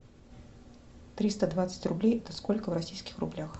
триста двадцать рублей это сколько в российских рублях